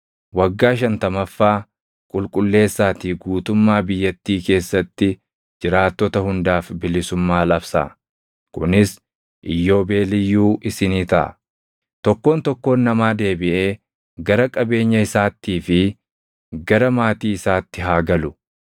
Waggaa shantamaffaa qulqulleessaatii guutummaa biyyattii keessatti jiraattota hundaaf bilisummaa labsaa. Kunis iyyoobeeliyyuu isinii taʼa; tokkoon tokkoon namaa deebiʼee gara qabeenya isaattii fi gara maatii isaatti haa galu.